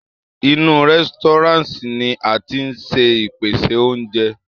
Inú Restaurant ni a tíí ṣe ìpèsè oúnjẹ.